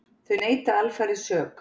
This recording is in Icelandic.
Þau neita alfarið sök.